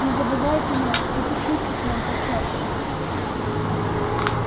не забывайте нас и пишите к нам почаще